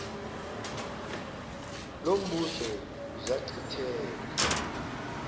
lo mbuzo zachithela